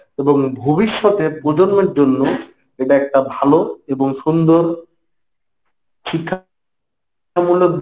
এবং ভবিষ্যতে পজন্মের জন্য এটা একটা ভালো এবং সুন্দর শিক্ষা মূলক,